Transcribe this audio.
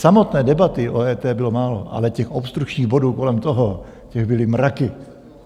Samotné debaty o EET bylo málo, ale těch obstrukčních bodů kolem toho, těch byly mraky.